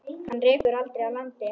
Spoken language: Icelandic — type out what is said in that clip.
Hana rekur aldrei að landi.